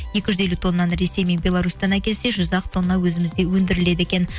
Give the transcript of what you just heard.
екі жүз елу тоннаны ресей мен белорустан әкелсе жүз ақ тонна өзімізде өндіріледі екен